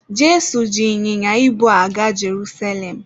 Jesu ji ịnyịnya ibu gaa Jerusalem